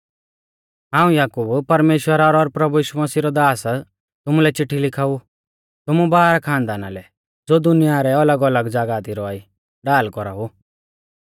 हाऊं याकूब परमेश्‍वरा रौ और प्रभु यीशु मसीह रौ दास तुमुलै चिट्ठी लिखाऊ तुमु बाराह खानदाना लै ज़ो दुनिया रै अलगअलग ज़ागाह दी रौआ ई ढाल कौराऊ